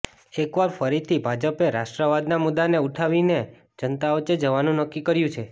એક વાર ફરીથી ભાજપે રાષ્ટ્રવાદના મુદ્દાને ઉઠાવીને જનતા વચ્ચે જવાનું નક્કી કર્યુ છે